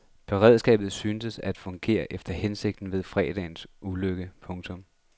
Beredskabet syntes at fungere efter hensigten ved fredagens ulykke. punktum